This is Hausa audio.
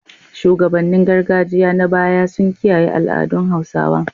Shugabannin gargajiya na baya sun kiyaye al’adun Hausawa.